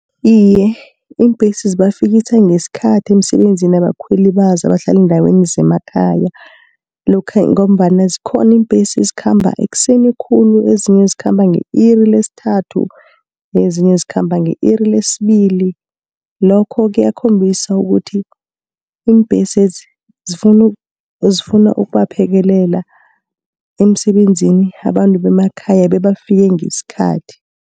Iye iimbhesi zibafikisa ngesikhathi emsebenzini abakhweli bazo abahlale eendaweni zemakhaya, ngombana zikhona iimbhesi ezikhamba ekuseni khulu. Ezinye zikhamba nge-iri lesithathu, ezinye zikhamba nge-iri lesibili. Ngakho kuyakhombisa ukuthi, iimbhesezi zifuna ukubaphekelela emsebenzini abantu bemakhaya bebafike ngesikhathi.